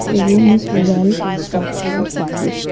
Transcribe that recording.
the room is well constructed is furnished.